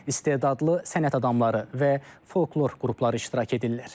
İstedadlı sənət adamları və folklor qrupları iştirak edirlər.